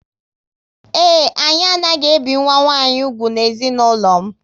Ee, anyị anaghị ebi nwa nwanyị úgwù na ezinụlọ m